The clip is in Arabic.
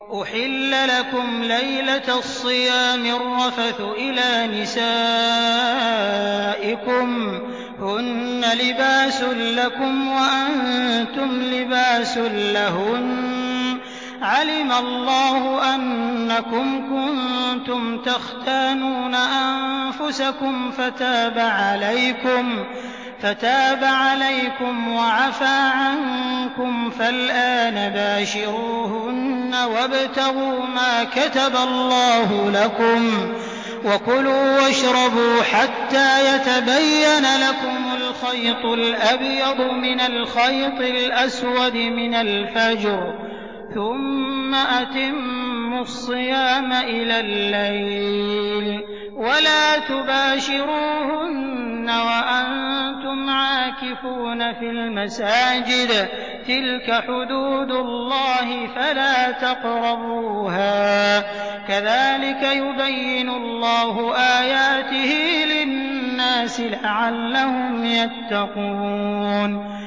أُحِلَّ لَكُمْ لَيْلَةَ الصِّيَامِ الرَّفَثُ إِلَىٰ نِسَائِكُمْ ۚ هُنَّ لِبَاسٌ لَّكُمْ وَأَنتُمْ لِبَاسٌ لَّهُنَّ ۗ عَلِمَ اللَّهُ أَنَّكُمْ كُنتُمْ تَخْتَانُونَ أَنفُسَكُمْ فَتَابَ عَلَيْكُمْ وَعَفَا عَنكُمْ ۖ فَالْآنَ بَاشِرُوهُنَّ وَابْتَغُوا مَا كَتَبَ اللَّهُ لَكُمْ ۚ وَكُلُوا وَاشْرَبُوا حَتَّىٰ يَتَبَيَّنَ لَكُمُ الْخَيْطُ الْأَبْيَضُ مِنَ الْخَيْطِ الْأَسْوَدِ مِنَ الْفَجْرِ ۖ ثُمَّ أَتِمُّوا الصِّيَامَ إِلَى اللَّيْلِ ۚ وَلَا تُبَاشِرُوهُنَّ وَأَنتُمْ عَاكِفُونَ فِي الْمَسَاجِدِ ۗ تِلْكَ حُدُودُ اللَّهِ فَلَا تَقْرَبُوهَا ۗ كَذَٰلِكَ يُبَيِّنُ اللَّهُ آيَاتِهِ لِلنَّاسِ لَعَلَّهُمْ يَتَّقُونَ